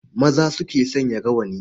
Maza su ke sanya rawani.